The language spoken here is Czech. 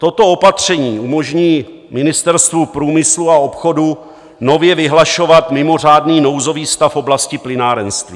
Toto opatření umožní Ministerstvu průmyslu a obchodu nově vyhlašovat mimořádný nouzový stav v oblasti plynárenství.